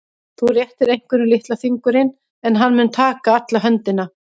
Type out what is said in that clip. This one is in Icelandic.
Þú réttir einhverjum litla fingurinn en hann mun taka alla höndina.